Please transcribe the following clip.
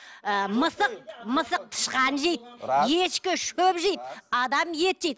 ы мысық мысық тышқан жейді ешкі шөп жейді адам ет жейді